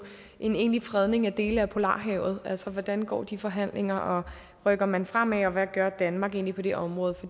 en egentlig fredning af dele af polarhavet altså hvordan går de forhandlinger rykker man fremad og hvad gør danmark egentlig på det område